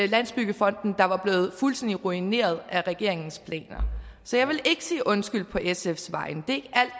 landsbyggefonden blevet fuldstændig ruineret af regeringens planer så jeg vil ikke sige undskyld på sfs vegne det